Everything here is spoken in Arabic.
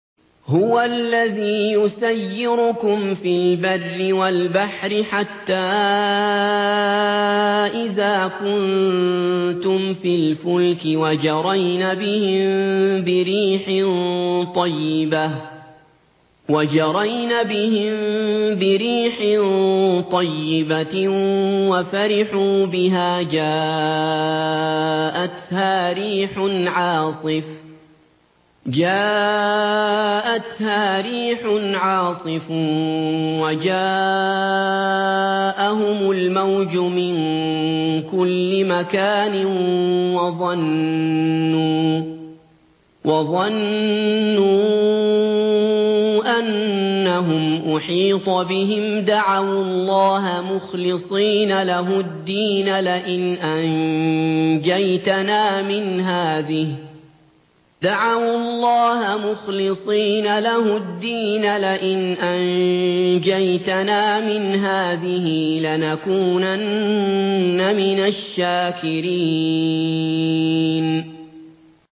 هُوَ الَّذِي يُسَيِّرُكُمْ فِي الْبَرِّ وَالْبَحْرِ ۖ حَتَّىٰ إِذَا كُنتُمْ فِي الْفُلْكِ وَجَرَيْنَ بِهِم بِرِيحٍ طَيِّبَةٍ وَفَرِحُوا بِهَا جَاءَتْهَا رِيحٌ عَاصِفٌ وَجَاءَهُمُ الْمَوْجُ مِن كُلِّ مَكَانٍ وَظَنُّوا أَنَّهُمْ أُحِيطَ بِهِمْ ۙ دَعَوُا اللَّهَ مُخْلِصِينَ لَهُ الدِّينَ لَئِنْ أَنجَيْتَنَا مِنْ هَٰذِهِ لَنَكُونَنَّ مِنَ الشَّاكِرِينَ